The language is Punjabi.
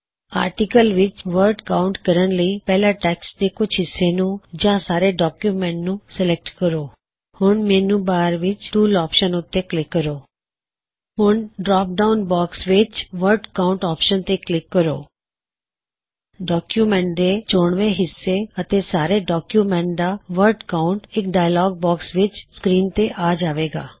ਆਪਣੇ ਆਰਟਿਕਲ ਵਿੱਚ ਵਰਡ ਕਾਉੰਟ ਕਰਣ ਲਈ ਪਹਿਲਾਂ ਟੈੱਕਸਟ ਦੇ ਕੁਛ ਹਿੱਸੇ ਨੂੰ ਜਾਂ ਸਾਰੇ ਡੌਕਯੁਮੈੱਨਟ ਨੂੰ ਸੇਲੈਕਟ ਕਰੋ ਹੁਣ ਮੈੱਨੂ ਬਾਰ ਵਿੱਚ ਟੂਲ ਆਪਸ਼ਨ ਉੱਤੇ ਕਲਿਕ ਕਰੋ ਹੁਣ ਡਰੌਪਡਾਉਨ ਬਾਕਸ ਵਿੱਚ ਵਰਡ ਕਾਉਨਟਵਰਡ ਕਾਉਂਟ ਆਪਸ਼ਨ ਤੇ ਕਲਿਕ ਕਰੋ ਡੌਕਯੁਮੈੱਨਟ ਦੇ ਚੋਣਵੇ ਹਿੱਸੇ ਅਤੇ ਸਾਰੇ ਡੌਕਯੁਮੈੱਨਟ ਦਾ ਵਰ੍ਡ ਕਾਉਨਟ ਇਕ ਡਾਇਅਲੌਗ ਬੌਕਸ ਵਿੱਚ ਸਕ੍ਰੀਨ ਤੇ ਆ ਜਾਵੇ ਗਾ